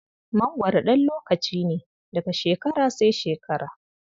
mangwaro ɗan lokaci ne, daga shekara sai shekara.